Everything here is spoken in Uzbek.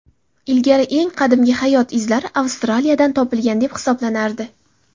Ilgari eng qadimgi hayot izlari Avstraliyadan topilgan deb hisoblanardi.